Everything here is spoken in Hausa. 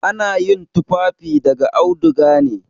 Ana yin tufafi daga auduga ne.